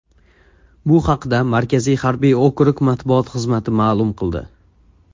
Bu haqda Markaziy harbiy okrug matbuot xizmati ma’lum qildi.